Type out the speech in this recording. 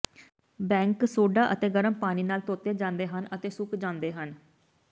bank soda ਅਤੇ ਗਰਮ ਪਾਣੀ ਨਾਲ ਧੋਤੇ ਜਾਂਦੇ ਹਨ ਅਤੇ ਸੁੱਕ ਜਾਂਦੇ ਹਨ